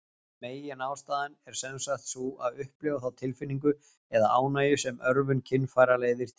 Meginástæðan er sjálfsagt sú að upplifa þá tilfinningu eða ánægju sem örvun kynfæra leiðir til.